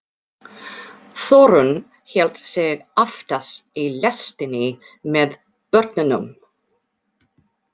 Þórunn hélt sig aftast í lestinni með börnunum.